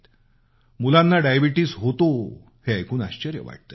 मुलांना मधुमेह होतो हे ऐकून आश्चर्य वाटतं